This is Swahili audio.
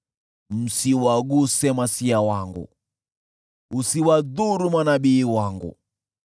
“Msiwaguse niliowatia mafuta; msiwadhuru manabii wangu.”